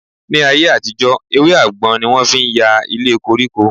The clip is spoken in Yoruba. Ní ayé-àtijọ, ewé àgbọn ni wọ́n fi ń ya ilé koríko.